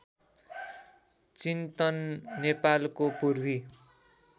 चिन्तन नेपालको पूर्वी